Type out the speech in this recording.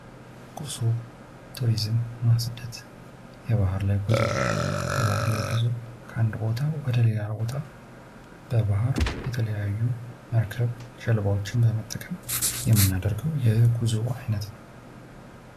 ጉዞ፤ ቱሪዝምና ስደት፦ የባህር ላይ ጉዞ ከአንድ ቦታ ወደ ለሌላ ቦት በባህር የትለያዩ መርከብ ገልባዎችን በመጠቀም የምናደርገው የጉዞ አይነት ነው።